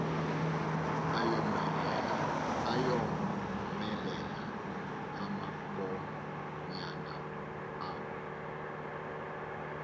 ayomelela amankonyana awo